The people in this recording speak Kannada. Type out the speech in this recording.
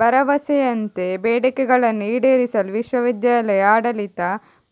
ಭರವಸೆಯಂತೆ ಬೇಡಿಕೆಗಳನ್ನು ಈಡೇರಿಸಲು ವಿಶ್ವವಿದ್ಯಾಲಯ ಆಡಳಿತ